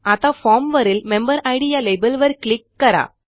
आता फॉर्म वरील मेंबेरिड या लेबलवर क्लिक करा